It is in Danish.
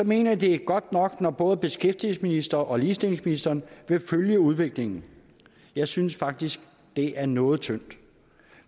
man at det er godt nok når både beskæftigelsesministeren og ligestillingsministeren vil følge udviklingen jeg synes faktisk det er noget tyndt